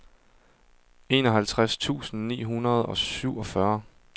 enoghalvtreds tusind ni hundrede og syvogfyrre